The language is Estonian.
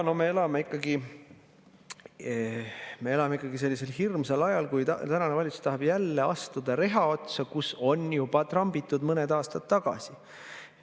No me elame ikkagi sellisel hirmsal ajal, kui tänane valitsus tahab jälle astuda reha otsa, kus on juba trambitud mõned aastad tagasi.